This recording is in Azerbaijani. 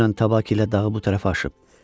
Dünən Tabaki ilə dağı bu tərəfə aşıb.